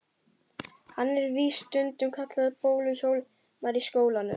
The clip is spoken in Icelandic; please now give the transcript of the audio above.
Hann er víst stundum kallaður Bólu-Hjálmar í skólanum.